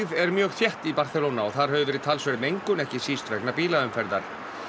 er mjög þétt í Barcelona og þar hefur verið talsverð mengun ekki síst vegna bílaumferðar